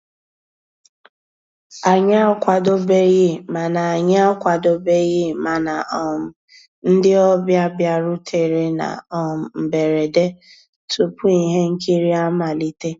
Ànyị́ àkwàdóbéghí màná Ànyị́ àkwàdóbéghí màná um ndị́ ọ̀bịá bìàrùtérè ná um mbérèdé túpú íhé nkírí àmàlíté.